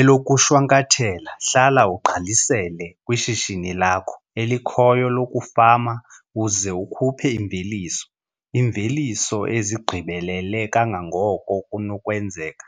Elokushwankathela, hlala ugqalisele kwishishini lakho elikhoyo lokufama uze ukhuphe imveliso - iimveliso ezigqibelele kangangoko kunokwenzeka.